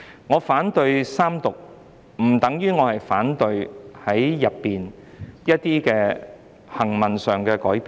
我反對三讀，不等於我反對《條例草案》內一些行文上的改變。